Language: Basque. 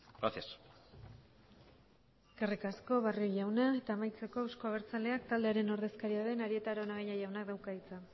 gracias eskerrik asko barrio jauna eta amaitzeko euzko abertzaleak taldearen ordezkaria den arieta araunabeña jaunak dauka hitza